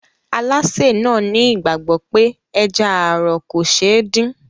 Alásè náà ní ìgbàgbọ́ pé ẹja ààrọ̀ kò ṣe é dín.